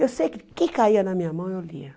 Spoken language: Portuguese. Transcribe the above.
Eu sei que o que caía na minha mão eu lia.